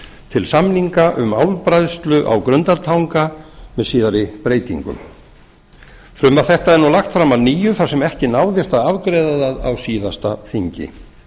til samninga um álbræðslu á grundartanga með síðari breytingum frumvarp þetta er nú lagt fram að nýju þar sem ekki náðist að afgreiða það á síðasta þingi